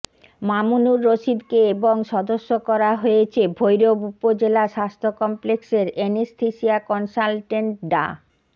মামুনুর রশিদকে এবং সদস্য করা হয়েছে ভৈরব উপজেলা স্বাস্থ্য কমপ্লেক্সের এনেসথেসিয়া কনসালটেন্ট ডা